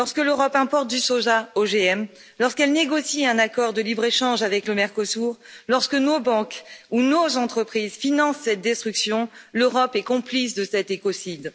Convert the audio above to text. Lorsque l'Europe importe du soja OGM, lorsqu'elle négocie un accord de libre échange avec le Mercosur, lorsque nos banques ou nos entreprises financent cette destruction, l'Europe est complice de cet écocide.